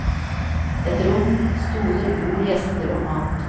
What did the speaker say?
Et rom, stoler, bord, gjester og mat.